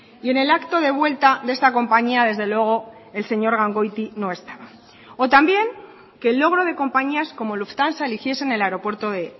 y en el acto de vuelta de esta compañía desde luego el señor gangoiti no estaba o también que el logro de compañías como lufthansa eligiesen el aeropuerto de